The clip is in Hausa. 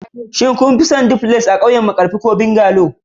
shin kun fi son duplex a ƙauyen markafi ko bungalow.